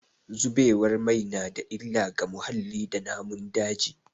Zubewar mai na da illa ga muhalli da namun daji.